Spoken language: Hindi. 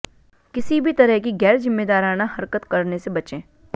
किसी भी तरह की गैरजिम्मेदाराना हरकत करने से बचें